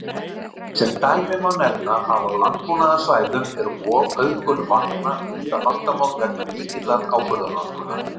Sem dæmi má nefna að á landbúnaðarsvæðum er ofauðgun vatna víða vandamál vegna mikillar áburðarnotkunar.